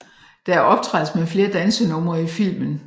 Der optrædes med flere dansenumre i filmen